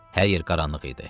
Hər yer qaranlıq idi.